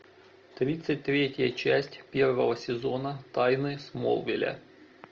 тридцать третья часть первого сезона тайны смолвиля